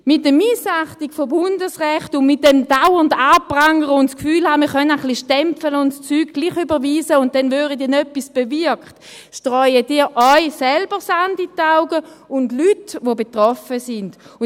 Mit der Missachtung von Bundesrecht, mit dem dauernden Anprangern und damit, dass man das Gefühl hat, man könne ein wenig aufstampfen, die Sachen dennoch überweisen und dann werde etwas bewirkt, streuen Sie sich selbst und auch den betroffenen Leuten Sand in die Augen.